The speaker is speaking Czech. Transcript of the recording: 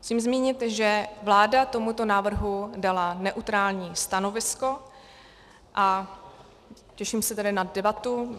Musím zmínit, že vláda tomuto návrhu dala neutrální stanovisko, a těším se tedy na debatu.